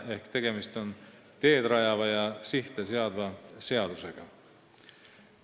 Seega on tegemist teed rajava ja sihte seadva seadusega.